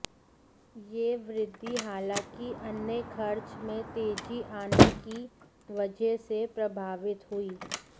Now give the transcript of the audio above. यह वृद्घि हालांकि अन्य खर्च में तेजी आने की वजह से प्रभावित हुई